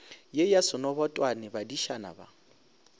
ye ya senobotwane badišana ba